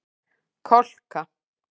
Kolka